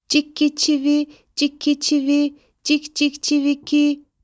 Cik ki, çivi, cik ki, çivi, cik, cik, çivi ki.